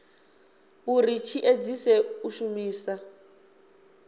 uri tshi edzise u shumisa